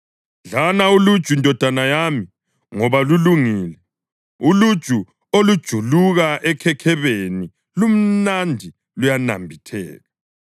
Dlana uluju ndodana yami, ngoba lulungile; uluju olujuluka ekhekhebeni lumnandi luyanambitheka.